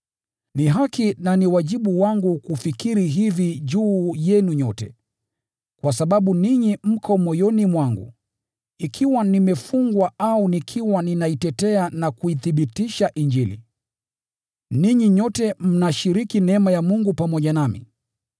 Ni haki na ni wajibu wangu kufikiri hivi juu yenu nyote, kwa sababu ninyi mko moyoni mwangu. Ikiwa nimefungwa au nikiwa ninaitetea na kuithibitisha Injili, ninyi nyote mnashiriki neema ya Mungu pamoja nami.